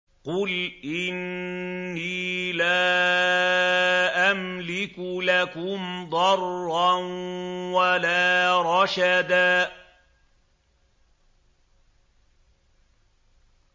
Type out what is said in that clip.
قُلْ إِنِّي لَا أَمْلِكُ لَكُمْ ضَرًّا وَلَا رَشَدًا